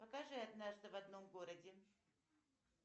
покажи однажды в одном городе